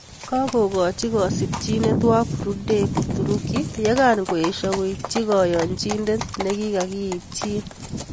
Kakokachii kasimchineet wakurudek uturuki yegangoesho koityii kayanchineet nikikakiitchin